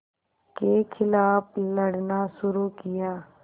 के ख़िलाफ़ लड़ना शुरू किया